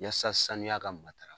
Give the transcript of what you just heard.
Yasa saniya ka matarafa